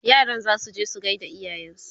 yaran zasu je su gaida iyayensu